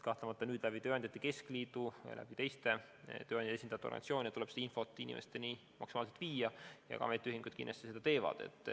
Kahtlemata nüüd tuleb tööandjate keskliidu ja teiste organisatsioonide kaudu seda infot inimesteni maksimaalselt viia ja ametiühingud kindlasti seda teevad.